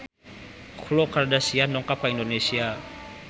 Khloe Kardashian dongkap ka Indonesia